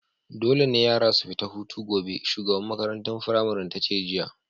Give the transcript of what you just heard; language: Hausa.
Dole ne yara su fita hutu gobe! shugaban maƙarantan firamarin tace jiya.